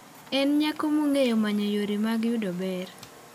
En nyako mong'eyo manyo yore mag yudo ber.